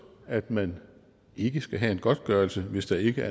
at man ikke skal have en godtgørelse hvis ikke